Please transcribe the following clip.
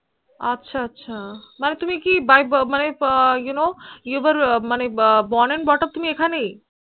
আছা আছা মনে তুমি কি You Know Born And Bought Up তুমি এইখানে